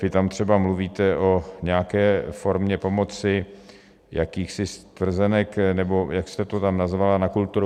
Vy tam třeba mluvíte o nějaké formě pomoci, jakýchsi stvrzenek nebo jak jste to tam nazvala, na kulturu.